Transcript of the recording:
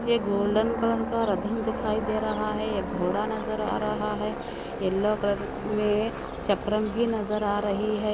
ये golden colour का राधाम दिक् रहा हे ये घोडा नजर ा रहा हे येलो कलर का चक्रम बी नजर आ रही हे |